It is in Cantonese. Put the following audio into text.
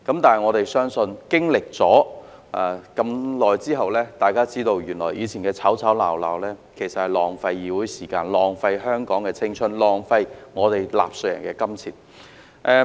但是，相信經歷了這麼長時間後，大家已知道以前的吵吵鬧鬧，其實是在浪費議會時間、浪費香港的青春、浪費納稅人的金錢。